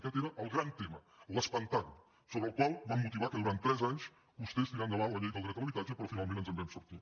aquest era el gran tema l’espantant sobre el qual van motivar que durant tres anys costés tirar endavant la llei del dret a l’habitatge però finalment ens en vam sortir